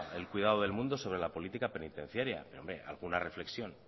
el cuidado del mundo sobre la política penitenciaria hombre alguna reflexión